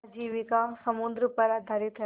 आजीविका समुद्र पर आधारित है